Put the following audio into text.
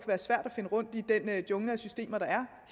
være svært at finde rundt i den jungle af systemer der